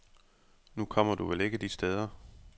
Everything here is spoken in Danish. Nu kommer du vel ikke de steder.